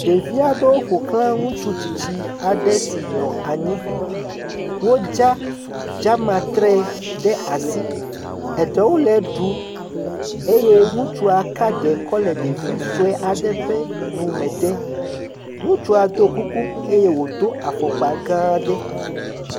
Ɖevi aɖewo ƒoxla ŋutsu tsitsi aɖe si nɔ anyi, wodza dzamatre ɖe asi. Eɖewo le eɖum eye ŋutsu ka sue aɖe kɔ le ɖevi sue aɖe ƒe nume dem, ŋutsu do kuku eye wòdo afɔkpa gã aɖe.